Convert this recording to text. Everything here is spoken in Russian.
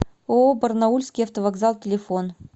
ооо барнаульский автовокзал телефон